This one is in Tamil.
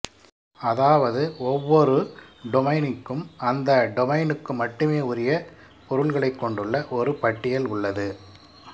அதாவது ஒவ்வொரு டொமைனுக்கும் அந்த டொமைனுக்கு மட்டுமே உரிய பொருள்களைக் கொண்டுள்ள ஒரு பட்டியல் உள்ளது